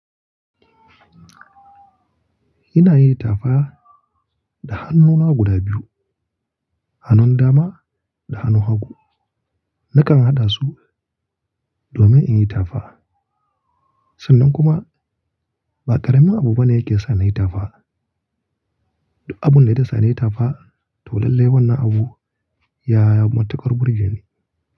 Ina yin itafa da hannuna guda biyu, hannun dama da hannun hagu. Nakan haɗa su domin in yi itafa. Sannan kuma ba ƙaramin abu bane yake sa na yi itafa. Abun da ya sa na yi itafa toh lallai wannan abu ya yi matuƙar burge ni.